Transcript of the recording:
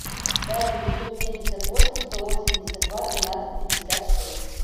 пять девятьсот семьдесят восемь сто восемьдесят два двенадцать пятьдесят шесть